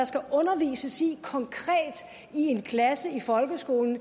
skal undervises i i en klasse i folkeskolen